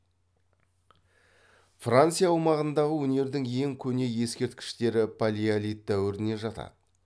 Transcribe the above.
франция аумағындағы өнердің ең көне ескерткіштері палеолит дәуіріне жатады